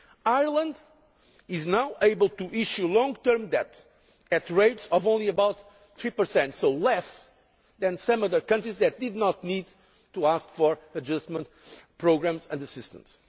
Ireland is now able to issue long term debt at rates of only about 3 which is less than some other countries that did not need to ask for adjustment programmes and assistance.